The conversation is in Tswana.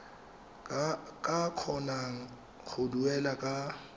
ka kgonang go duela ka